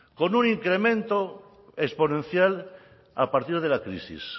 con un incremento exponencial a partir de la crisis